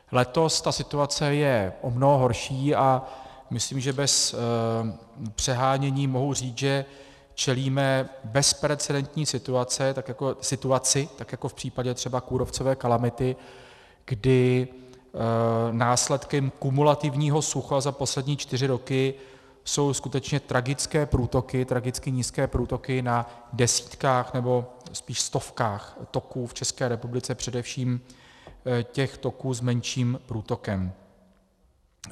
Letos ta situace je o mnoho horší a myslím, že bez přehánění mohu říct, že čelíme bezprecedentní situaci, tak jako v případě třeba kůrovcové kalamity, kdy následkem kumulativního sucha za poslední čtyři roky jsou skutečně tragické průtoky, tragicky nízké průtoky na desítkách, nebo spíš stovkách toků v České republice, především těch toků s menším průtokem.